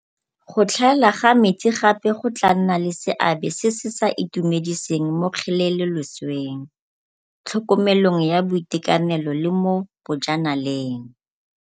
Go tlhaela ga metsi gape go tla nna le seabe se se sa itumediseng mo kgelelolesweng, tlhokomelong ya boitekanelo le mo boja naleng.